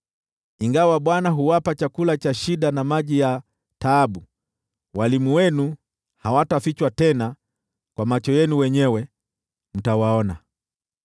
Ingawa Bwana huwapa chakula cha shida na maji ya taabu, walimu wenu hawatafichwa tena, kwa macho yenu wenyewe mtawaona.